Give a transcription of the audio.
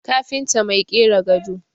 kafinta Mai kera gado